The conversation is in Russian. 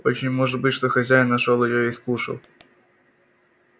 очень может быть что хозяин нашёл её и скушал